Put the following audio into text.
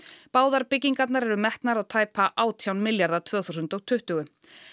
báðar byggingarnar eru metnar á tæpa átján milljarða tvö þúsund og tuttugu